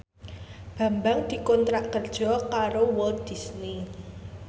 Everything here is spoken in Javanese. Bambang dikontrak kerja karo Walt Disney